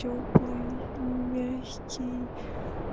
тёплый мягкий